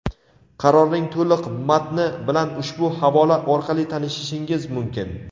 Qarorning to‘liq matni bilan ushbu havola orqali tanishishingiz mumkin.